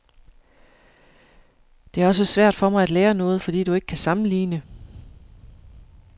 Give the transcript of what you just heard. Det er også svært for mig at lære noget, fordi du ikke kan sammenligne.